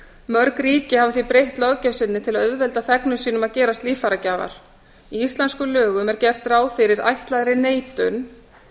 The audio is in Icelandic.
mörg ríki hafa því breytt löggjöf sinni til að auðvelda þegnum sínum að gerast líffæragjafar í íslenskum lögum er gert ráð fyrir ætlaðri neitun